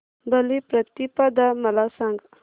बलिप्रतिपदा मला सांग